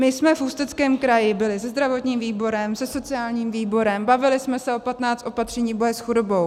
My jsme v Ústeckém kraji byli se zdravotním výborem, se sociálním výborem, bavili jsme se o 15 opatřeních boje s chudobou.